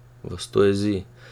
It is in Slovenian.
Vas to jezi?